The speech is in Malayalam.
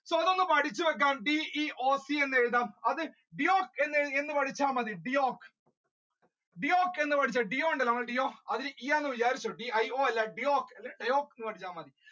ഇതൊന്നു പഠിച്ചു വെക്കുക DEOC എന്ന് എഴുതാം അത് എന്ന് Deeyoc പഠിച്ച മതി പഠിച്ച മതി dio ഉണ്ടല്ലോ നമ്മുടെ